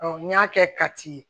n'i y'a kɛ kati ye